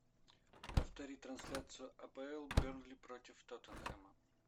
повтори трансляцию апл бернли против тоттенхэма